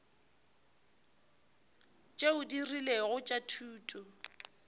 tšeo di rilego tša thuto